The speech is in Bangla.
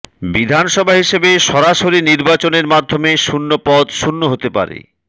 বিধানসভা হিসাবে সরাসরি নির্বাচনের মাধ্যমে শূন্য পদ শূন্য হতে পারে